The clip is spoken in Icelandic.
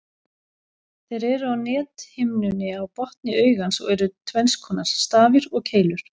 Þeir eru á nethimnunni á botni augans og eru tvenns konar, stafir og keilur.